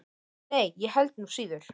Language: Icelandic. Nei, og ég held nú síður.